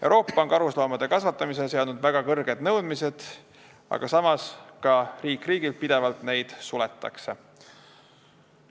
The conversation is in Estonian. Euroopa on karusloomade kasvatamisele seadnud väga kõrged nõudmised, samas Euroopas kasvandusi ka pidevalt suletakse.